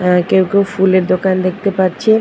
আর কেউ কেউ ফুলের দোকান দেখতে পাচ্ছে।